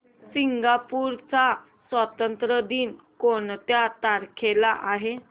Singapore चा स्वातंत्र्य दिन कोणत्या तारखेला आहे